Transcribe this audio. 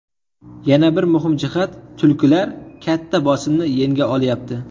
Yana bir muhim jihat ‘tulkilar’ katta bosimni yenga olayapti.